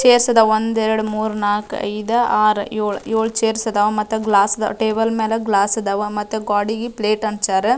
chairs ಅದಾವ ಒಂದ್ ಎರಡ್ ಮೂರ್ ನಾಲ್ಕ್ ಐದ್ ಆರ್ ಏಳ್ ಏಳು ಚೈರ್ಸ್ ಅದಾವ ಮತ್ತು ಗ್ಲಾಸ್ ಟೇಬಲ್ ಮೇಲೆ ಗ್ಲಾಸ್ ಅದಾವ ಮತ್ತೆ ಗೋಡೆಗೆ ಪ್ಲೇಟ್ ಅಂಟಿಸ್ಯರ--